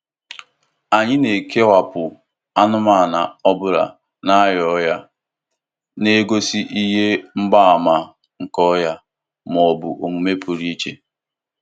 Anyị na-ekewapụ anụmanụ ọ bụla na-arịa ọrịa na-egosi ihe mgbaàmà nke ọrịa ma ọ bụ omume pụrụ iche.